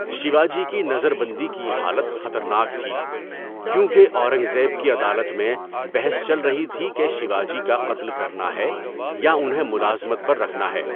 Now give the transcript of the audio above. شیواجی کی نظر بندی کی حالت خطرناک تھی، کیونکہ اورنگ زیب کی عدالت میں بحث چل رہی تھِی کہ شیواجی کا قتل کرنا ہے یا انہیں ملازمت پر رکھنا ہے۔